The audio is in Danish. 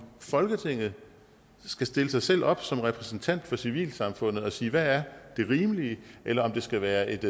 folketinget skal stille sig selv op som repræsentant for civilsamfundet og sige hvad der er det rimelige eller om det skal være et